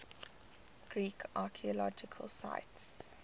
greek archaeological sites